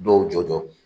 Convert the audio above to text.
Dɔw jɔ